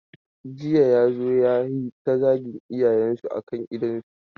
Jiya ya zo ya yi ta zagin iyayensu a kan idonsu.